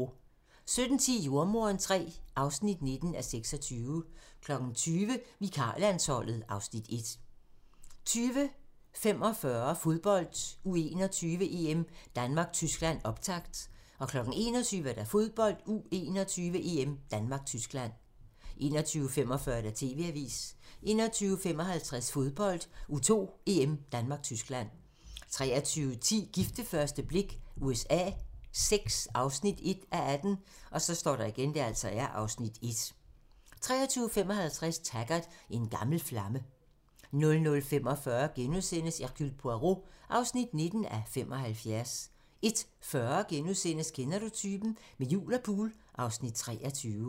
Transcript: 17:10: Jordemoderen III (9:26) 20:00: Vikarlandsholdet (Afs. 1) 20:45: Fodbold: U21-EM - Danmark-Tyskland, optakt 21:00: Fodbold: U21-EM - Danmark-Tyskland 21:45: TV-avisen 21:55: Fodbold: U21-EM - Danmark-Tyskland 23:10: Gift ved første blik USA VI (1:18) (Afs. 1) 23:55: Taggart: En gammel flamme 00:45: Hercule Poirot (19:75)* 01:40: Kender du typen? - Med jul og pool (Afs. 23)*